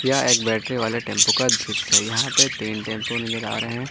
यह एक बैटरी वाले टेंपू का दृश्य है यहां पे तीन टैंपो नजर आ रहे है।